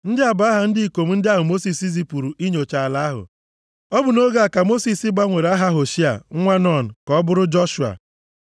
Ndị a bụ aha ndị ikom ndị ahụ Mosis zipụrụ inyocha ala ahụ. (Ọ bụ nʼoge a ka Mosis gbanwere aha Hoshea nwa Nun, ka ọ bụrụ Joshua.)